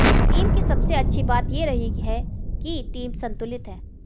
team की सबसे अच्छी बात ये रही है कि टीम संतुलित है